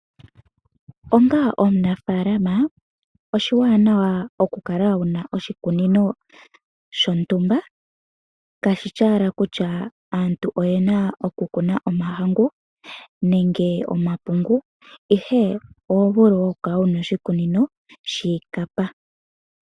Onga omunafalama, oshiwanawa oku kala wuna oshikunino sho ntumba, kashishi wala kutya aantu oyen oku kuna omahangu nenge omapungu, ihe oho vulu woo oku kala wuna oshikunino shiikapa.